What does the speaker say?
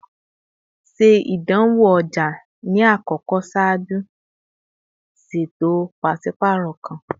Ṣe idanwo ọja ni akọkọ ṣaaju ṣeto paṣipaarọ kan!